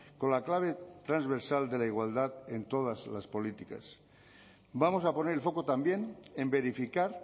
con la clave transversal de la igualdad en todas las políticas vamos a poner el foco también en verificar